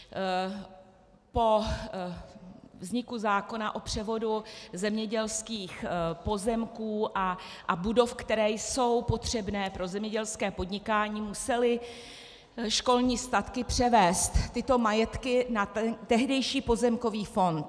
Po vzniku zákona o převodu zemědělských pozemků a budov, které jsou potřebné pro zemědělské podnikání, musely školní statky převést tyto majetky na tehdejší pozemkový fond.